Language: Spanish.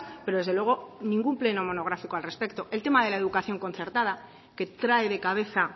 pero desde luego ningún pleno monográfico al respecto el tema de la educación concertada que trae de cabeza